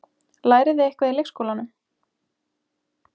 Lærið þið eitthvað í leikskólanum?